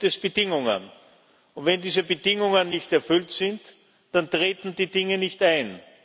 Aber hier gibt es Bedingungen. Und wenn diese Bedingungen nicht erfüllt sind, dann treten die Dinge nicht ein.